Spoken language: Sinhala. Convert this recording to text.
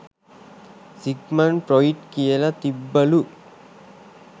සිග්මන් ෆ්‍රොයිඩ් කියල තිබ්බලු